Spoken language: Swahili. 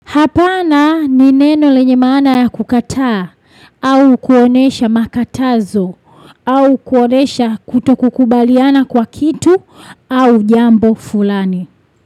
Hapana ni neno lenye maana ya kukataa au kuonesha makatazo au kuonesha kutokukubaliana kwa kitu au jambo fulani.